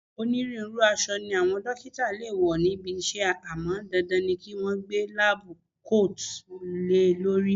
Onírúurú aṣọ ni àwọn dókítà le wo níbi iṣẹ́ àmọ́ dandan ni kí wọn gbé láábú koòtù le lórí